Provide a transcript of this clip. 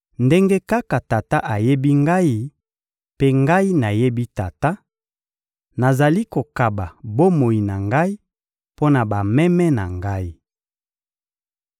—ndenge kaka Tata ayebi Ngai, mpe Ngai nayebi Tata— Nazali kokaba bomoi na Ngai mpo na bameme na Ngai.